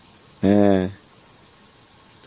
হ্যাঁ